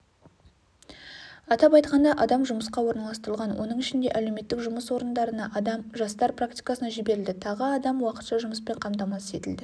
атап айтқанда адам жұмысқа орналастырылған оның ішінде әлеуметтік жұмыс орындарына адам жастар практикасына жіберілді тағы адам уақытша жұмыспен қамтамасыз етілді